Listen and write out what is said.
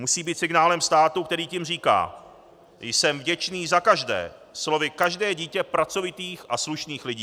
Musí být signálem státu, který tím říká: "Jsem vděčný za každé, slovy každé dítě pracovitých a slušných lidí.